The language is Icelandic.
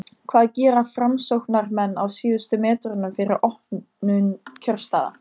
hvað gera framsóknarmenn á síðustu metrunum fyrir opnun kjörstaða?